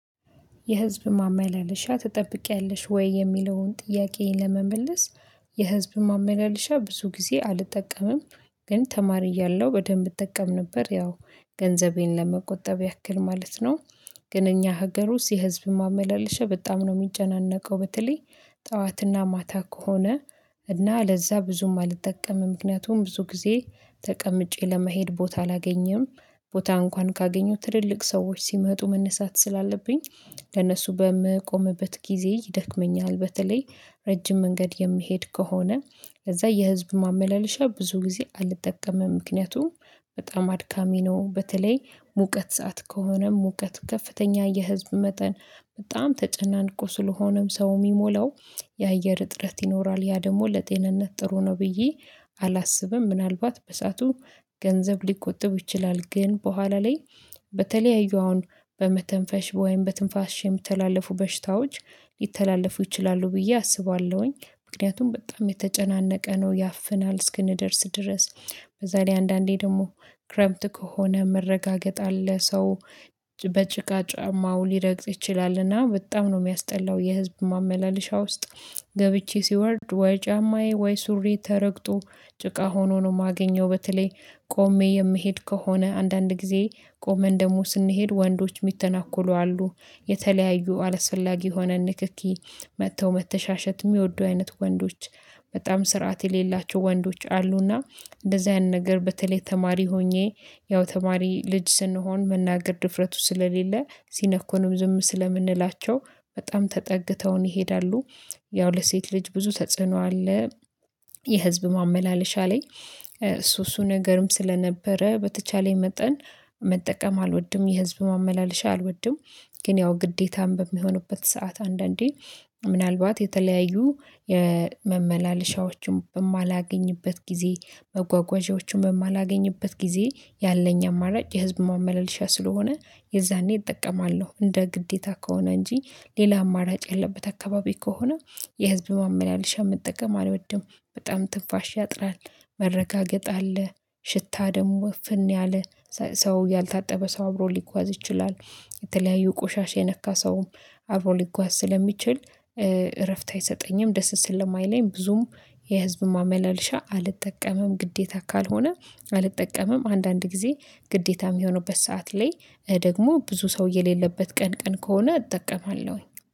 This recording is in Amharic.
የህዝብ ማመላለሻ ትጠብቂያለሽ ወይ? የሚለውን ጥያቄ ለመመለስ የህዝብ ማመላለሻ ብዙ ጊዜ አልጠቀምም። ግን ተማሪ እያለሁ በደንብ እጠቀም ነበር ያው ገንዘቤን ለመቆጠብ ያክል ማለት ነው። ግን እኛ ሀገር ውስጥ የህዝብ ማመላለሻ በጣም ነው የሚጨናነቀው በተለይ ጠዋትና ማታ ከሆነ። እና ለዛ ብዙም አልጠቀምም ምክንያቱም ብዙ ጊዜ ተቀምጬ ለመሄድ ቦታ አላገኘም ቦታ እንኳን ካገኘሁ ትልልቅ ሰዎች ሲመጡ መነሳት ስላለብኝ። ለእሱ በምቆምበት ጊዜ ይደክመኛል በተለይ ረጅም መንገድ የሚሄድ ከሆነ ከዛ የህዝብ ማመላለሻ ብዙ ጊዜ አልጠቀመም ምክንያቱም በጣም አድካሚ ነው። በተለይ ሙቀት ሰዓት ከሆነም ሙቀት ከፍተኛ የህዝብ መጠን በጣም ተጨናንቆ ስለሆነም ሰው የሚሞላው የአየር እጥረት ይኖራል ያ ደግሞ ለጤንነት ጥሩ ነው ብዬ አላስብም። ምናልባት በሰአቱ ገንዘብ ሊቆጥብ ይችላል ግን በኋላ ላይ በተለያዩ አሁን በመተንፈሽ ወይም በትንፋሽ የምትተላለፉ በሽታዎች ሊተላለፉ ይችላሉ ብዬ አስባለሁኝ። ምክንያቱም በጣም የተጨናነቀ ነው ያፍናል እስክንደርስ ድረስ በዛ ላይ አንዳንዴ ደግሞ ክረምት ከሆነ መረጋገጥ አለ ሰው በጭቃ ጫማው ሌረግጥ ይችላልና በጣም ነው የሚያስጠላው። የህዝብ ማመላለሻ ውስጥ ገብቼ ሲወርድ ወይ ጫማዬ ወይ ሱሪ ተረግጦ ጭቃ ሆኖ ነው የማገኘው። በተለይ ቆሜ የምሄድ ከሆነ አንዳንድ ጊዜ ቆመን ደግሞ ስንሄድ ወንዶች የሚተናኮሉ አሉ የተለያዩ አላስፈላጊ የሆነን ንክኪ መጥተው መተሻሸትም የሚወዱ አይነት ወንዶች በጣም ስርዓት የሌላቸው ወንዶች አሉና። እንደዚህ አይነት ነገር በተለይ ተማሪ ሆኜ ያው ተማሪ ልጅ ስንሆን መናገር ድፍረቱ ስለሌለ ሲነኩንም ዝም ስለምንላቸው በጣም ተጠግተውን ይሄዳሉ። ያው ለሴት ልጅ ብዙ ተጽዕኖ አለ። የህዝብ ማመላለሻ ላይ እሱ እሱ ነገርም ስለነበረ በተቻለኝ መጠን መጠቀም አልወድም የህዝብ ማመላለሻ አልወድም። ግን ያው ግዴታም በሚሆንበት ሰዓት አንዳንዴ ምናልባት የተለያዩ የመመላለሻዎችን በማላገኝበት ጊዜ መጓጓዣዎቹን በማላገኝበት ጊዜ ያለኝ አማራጭ የህዝብ ማመለልሻ ስለሆነ የዛኔ እጠቀማለሁ እንደ ግዴታ ከሆነ እንጂ ሌላ አማራጭ ያለበት አካባቢ ከሆነ የህዝብ ማመላለሻ መጠቀም አልወድም። በጣም ትፋሽ ያጥራል መረጋገጥ አለ ሽታ ደግሞ እፍን ያለ ሰው ያልታጠበ ሰው አብሮ ሊጓዝ ይችላል። የተለያዩ ቆሻሻ የነካ ሰውም አብሮ ሊጓዝ ስለሚችል እረፍት አይሰጠኝም ደስ ስለማይለኝ ብዙም የህዝብ ማመላለሻ አልጠቀመም። ግዴታ ካልሆነ አልጠቀመም አንዳንድ ጊዜ ግዴታም የሚሆነውበት ሰዓት ላይ ደግሞ ብዙ ሰው የሌለበት ቀን ቀን ከሆነ እጠቀማለሁኝ